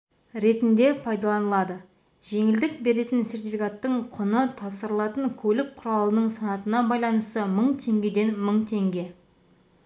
ретінде пайдаланылады жеңілдік беретін сертификаттың құны тапсырылатын көлік құралының санатына байланысты мың теңгеден мың теңге